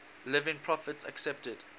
living prophets accepted